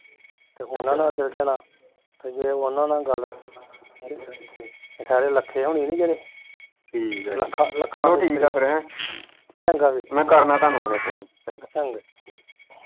ਤੇ ਉਹਨਾਂ ਨਾਲ਼ ਚੱਲ ਜਾਣਾ, ਤੇ ਜੇ ਓਹਨਾਂ ਨਾਲ਼ ਗੱਲ ਤੇ ਸਾਡੇ ਲਖੇ ਹੁਣੀ ਨੀ ਜਿਹੜੇ ਲੱਖਾ ਲੱਖਾ ਚੰਗਾ ਵੀਰ ਚੰਗਾ